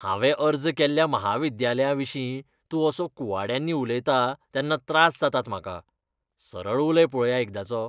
हांवें अर्ज केल्ल्या म्हाविद्यालयाविशीं तूं असो कुवाड्यांनी उलयता तेन्ना त्रास जातात म्हाका. सरळ उलय पळोवया एकदांचो.